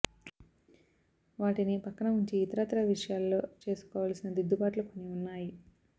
వాటిని పక్కన ఉంచి ఇతరత్రా విషయాలలో చేసుకోవలసిన దిద్దుబాట్లు కొన్ని ఉన్నాయి